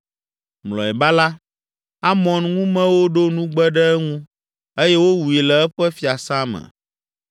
Mlɔeba la, Amon ŋumewo ɖo nugbe ɖe eŋu eye wowui le eƒe fiasã me.